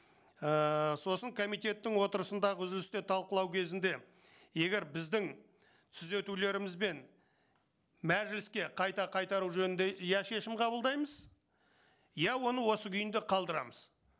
ііі сосын комитеттің отырысындағы үзілісте талқылау кезінде егер біздің түзетулерімізбен мәжіліске қайта қайтару жөнінде я шешім қабылдаймыз я оны осы күйінде қалдырамыз